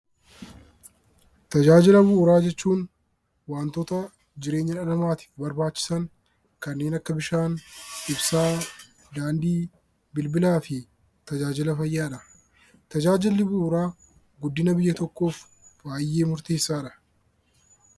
Tajaajila bu'uuraa jechuun waantota jireenya dhala namaatiif barbaachisan kanneen akka bishaan, ibsaa, daandii , bilbilaa fi tajaajila fayyaadha. Tajaajilli bu'uuraa guddina biyya tokkoof baayyee murteessaadha.